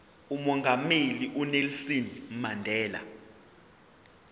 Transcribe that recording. umongameli unelson mandela